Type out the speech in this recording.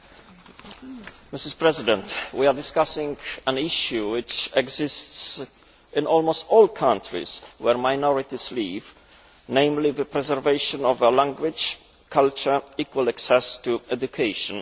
Madam President, we are discussing an issue which exists in almost all countries where minorities live namely, the preservation of a language, culture, and equal access to education.